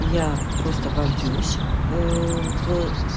я просто вольюсь в